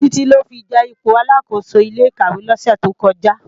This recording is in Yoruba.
Titi lò fi je ipó àlákósó ilé ikàwé lòsè tókòjá